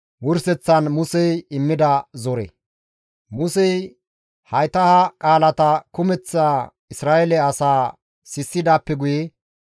Musey hayta ha qaalata kumeththa Isra7eele asaa sissidaappe guye,